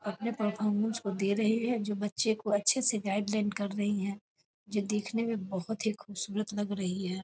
अपने परफॉरमेंस को दे रहे है जो बच्चे को अच्छे से गाइड लाइन कर रही है जो देखने मे बहुत ही खूबसूरत लग रही है।